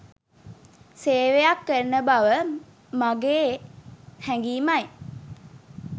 සේවයක් කරන බව මගේ හැඟීමයි.